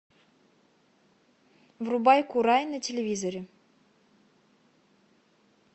врубай курай на телевизоре